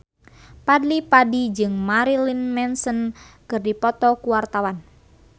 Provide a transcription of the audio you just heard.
Fadly Padi jeung Marilyn Manson keur dipoto ku wartawan